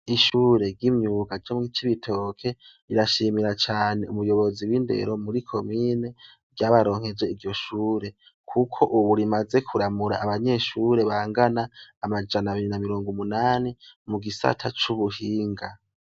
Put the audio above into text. Ishure ry'imyuka ryo mu Cibitoke rirashimira cane umuyobozi w'indero muri komine yabaronkeje iryo shure, kuko ubu rimaze kuramura abanyeshure bangana amajana abiri m na mirongo umunani mu gisata c'ubuhinga.